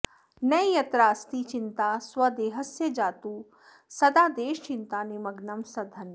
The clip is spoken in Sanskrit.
न यत्रास्ति चिन्ता स्वदेहस्य जातु सदा देशचिन्ता निमग्नं सधन्यः